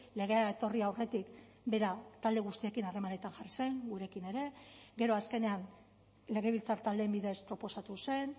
legea etorri aurretik bera talde guztiekin harremanetan jarri zen gurekin ere gero azkenean legebiltzar taldeen bidez proposatu zen